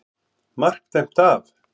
MARK DÆMT AF.